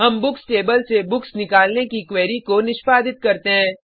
हम books table से books निकालने की क्वेरी को निष्पादित करते हैं